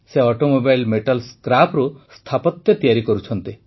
ସେ automobile metal Scrapeê ସ୍ଥାପତ୍ୟ ତିଆରି କରୁଛନ୍ତି